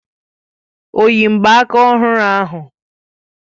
O yi mgbaaka ọhụrụ ahụ?